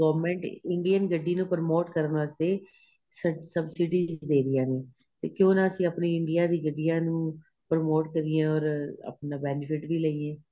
government Indian ਗੱਡੀ ਨੂੰ promote ਕਰਨ ਵਾਸਤੇ ਸਭਸਿਡੀਆਂ ਦੇ ਰਹੀਆਂ ਨੇ ਤੇ ਕਿਉ ਨਾ ਆਪਣੀਆਂ Indian ਦੀ ਗੱਡੀਆਂ ਨੂੰ promote ਕਰੀਏ ਔਰ ਆਪਣਾ benefit ਵੀ ਲਈਏ